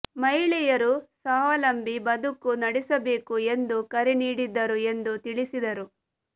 ಮಹಿಳೆಯರು ಸ್ವಾವಲಂಬಿ ಬದುಕು ನಡೆಸಬೇಕು ಎಂದು ಕರೆ ನೀಡಿದ್ದರು ಎಂದು ತಿಳಿಸಿದರು